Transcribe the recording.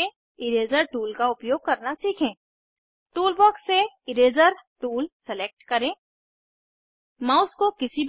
इस ट्यूटोरियल में हमने सीखा कैसे मौजूदा फाइल खोलें डिस्प्ले एरिया में टेक्स्ट कैसे ऐड और एडिट करें ऑब्जेक्ट्स को कैसे